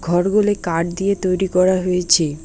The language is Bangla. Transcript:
ঘরগুলি কাট দিয়ে তৈরি করা হয়েচে।